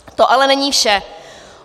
To ale není vše.